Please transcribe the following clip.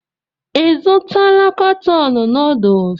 Ị zụtala katọn nuduls?